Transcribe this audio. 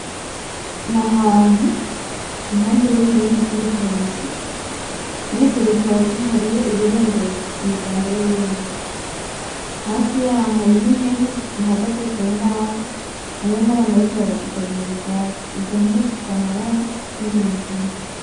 Ni ahantu impande y'ingundu z'ibitoki murivyo bitoki hariho ibirembezo imiganda y'ibirembezo hafi yaho hariho impene zihagaze ku mbaho hariho nabantu bariko barazigaburira ubwatsi izo mpene zifise amabara y'inginagina.